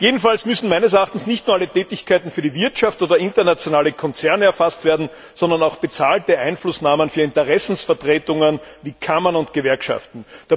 Jedenfalls müssen meines Erachtens nicht nur alle Tätigkeiten für die Wirtschaft oder internationale Konzerne erfasst werden, sondern auch bezahlte Einflussnahmen für Interessensvertretungen wie Kammern und Gewerkschaften.